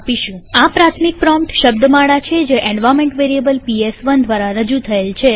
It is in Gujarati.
આ પ્રાથમિક પ્રોમ્પ્ટ શબ્દમાળા છે જે એન્વાર્નમેન્ટ વેરીએબલ પીએસ1 દ્વારા રજુ થયેલ છે